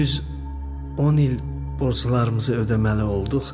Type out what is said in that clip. Düz 10 il borclarımızı ödəməli olduq.